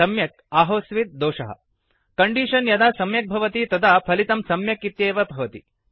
सम्यक् आहोस्वित् दोषः कण्डीषन् यदा सम्यक् भवति तदा फलितं सम्यक् इत्येव भवति